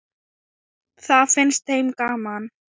Það fannst þeim gaman.